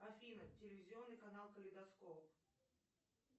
афина телевизионный канал калейдоскоп